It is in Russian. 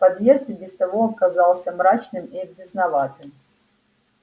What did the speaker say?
подъезд и без того оказался мрачным и грязноватым